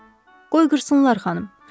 Qoy qırsınlar, xanım.